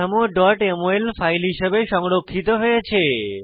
কাঠামো mol file হিসাবে সংরক্ষিত হয়েছে